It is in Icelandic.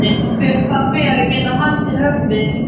Þegar það fer að geta haldið höfði.